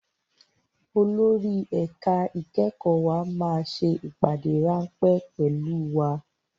Olórí ẹ̀ka ìkẹ́kọ̀ọ́ wa máa ṣe ìpàdé ráńpẹ́ pẹ̀lú wa